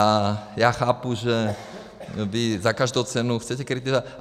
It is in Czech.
A já chápu, že vy za každou cenu chcete kritizovat.